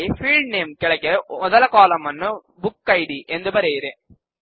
ಇಲ್ಲಿ field name ಕೆಳಗೆ ಮೊದಲ ಕಾಲಂ ನ್ನು ಬುಕಿಡ್ ಎಂದು ಬರೆಯಿರಿ